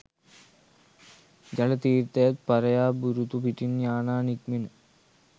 ජල තීර්ථයන් පරයා බුරුතු පිටින් යානා නික්මෙන